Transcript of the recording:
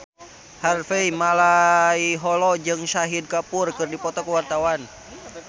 Harvey Malaiholo jeung Shahid Kapoor keur dipoto ku wartawan